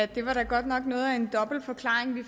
det var da godt nok noget af en dobbelt forklaring vi